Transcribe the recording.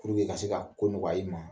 Ko bɛna se ka ko nɔgɔya i ma